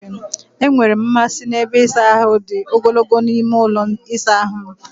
Enwere m mmasị n'ebe ịsa ahụ dị ogologo n'ime ụlọ ịsa ahụ m.